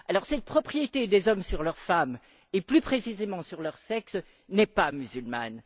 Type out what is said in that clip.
Cette propriété des hommes sur leur femme, et plus précisément sur leur sexe, n'est pas musulmane.